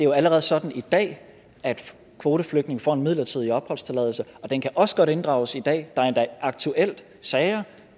jo allerede sådan i dag at kvoteflygtninge får en midlertidig opholdstilladelse og den kan også godt inddrages i dag der er endda aktuelle sager